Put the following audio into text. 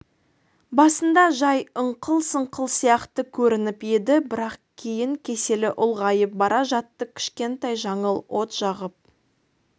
басында жай ыңқыл-сыңқыл сияқты көрініп еді бірақ кейін кеселі ұлғайып бара жатты кішкентай жаңыл от жағып